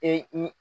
Ee